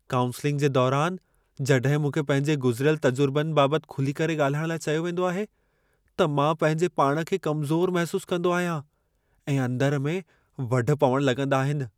Counselling जे दौरान जड॒हिं मूंखे पंहिंजे गुज़िरियल तजुर्बनि बाबति खुली करे ॻाल्हाइणु लाइ चयो वेंदो आहे त मां पंहिंजे पाण खे कमज़ोर महिसूस कंदो आहियां ऐं अंदर में वढ पवणु लॻंदा आहिनि।